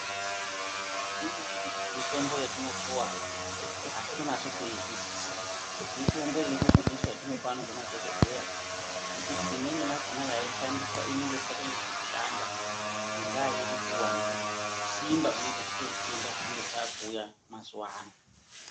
Imweni mitombo yatinopuwa, hatitonasi kuitoizwisisa. Mitombo iri kubudiswa zvinopano ngemadhokodheya, ngekuti imweni yakona yaishandiswa inenge isikachanyasi kushanda, ngendaa yenguwa nekusimba kunenge kwechiita zvitenda zvinenge zvakuuya mazuwano.